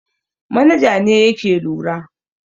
Manaja ne yake lura.